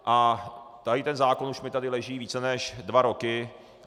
A tady ten zákon už mi tady leží více než dva roky.